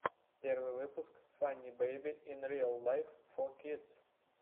первый выпуск фанни бэйби ин риал лайф фор кидс